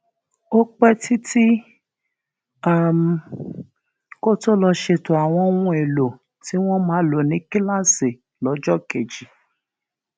ó pé títí um kó tó lọ ṣètò àwọn ohun èlò tí wón máa lò ní kíláàsì lójó kejì